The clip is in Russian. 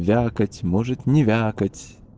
вякать может не вякать